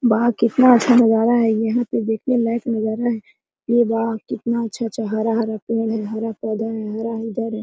वाह कितना अच्छा नजारा है यहां पे देखने लायक नजारा है अरे वाह कितना अच्छा अच्छा हरा हरा पेड़ है हरा पौधा है हरा है।